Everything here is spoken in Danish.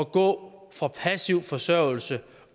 gå fra passiv forsørgelse